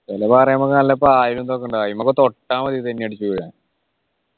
ചില പാറയാവുമ്പോ നല്ല പ്രായം ഇതൊക്കെ ഉണ്ട് അയിമോ തൊട്ട മതി തെന്നിയടിച്ചു വീഴാൻ